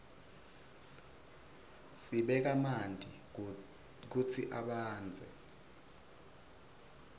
sibeka manti kutsi abandze